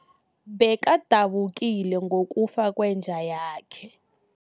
Bekadabukile ngokufa kwenja yakhe.